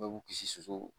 Bɛɛ b'u kisi sulu